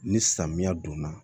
Ni samiya don na